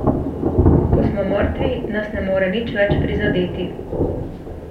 Ko smo mrtvi, nas ne more nič več prizadeti.